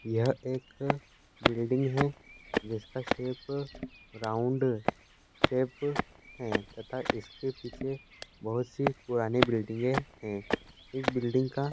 यह एक बिल्डिंग है जिसका शेप रावुन्द शेप है तथा इसके पीछे बहोत सी पुरानी बिल्डिंगे हैं इस बिल्डिंग का --